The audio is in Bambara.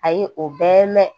Ayi o bɛɛ mɛn